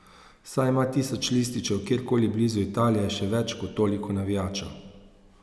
Saj ima tisoč lističev kjerkoli blizu Italije še več kot toliko navijačev.